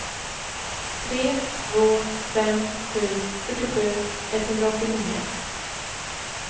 tre två fem sju fyrtiosju etthundraåttionio